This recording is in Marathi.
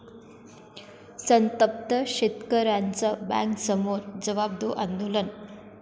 संतप्त शेतकऱ्यांचं बँकेसमोर 'जवाब दो' आंदोलन!